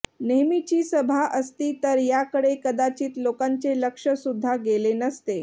नेहमीची सभा असती तर याकडे कदाचित लोकांचे लक्षसुद्धा गेले नसते